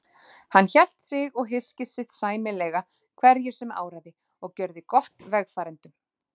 Hélt hann sig og hyski sitt sæmilega hverju sem áraði og gjörði gott vegfarendum.